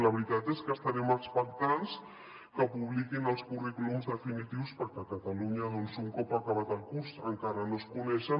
la veritat és que estarem expectants que publiquin els currículums definitius perquè a catalunya doncs un cop acabat el curs encara no es coneixen